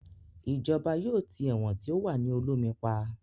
Ìjọba yóò tì ẹ̀wọ̀n tí ó wà ní Olómi pa